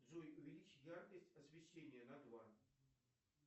джой увеличь яркость освещения на два